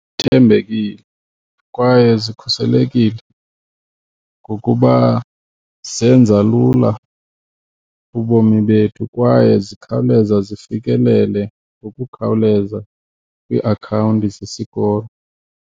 Kuthembekile kwaye zikhuselekile ngokuba zenza lula ubomi bethu kwaye zikhawuleza zifikelele ngokukhawuleza kwiiakhawunti zesikolo.